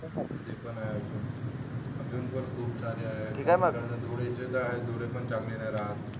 ते पण आहे अजून अजून पण खूप आहे धुळे चे काय डोळे पण चांगले नाही राहत